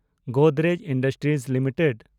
Godrej industries limited